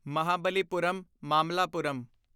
Mahabalipuram Mamallapuram